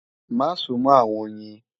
Má súnmọ́ àwọn oyin!